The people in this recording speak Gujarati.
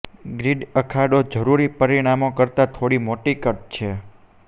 ગ્રિડ અખાડો જરૂરી પરિમાણો કરતાં થોડી મોટી કટ છે